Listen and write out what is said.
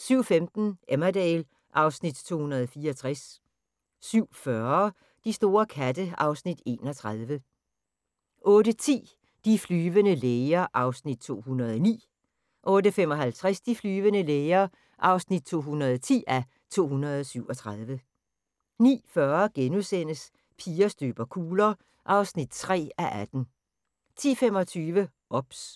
07:15: Emmerdale (Afs. 264) 07:40: De store katte (Afs. 31) 08:10: De flyvende læger (209:237) 08:55: De flyvende læger (210:237) 09:40: Piger støber kugler (3:18)* 10:25: OBS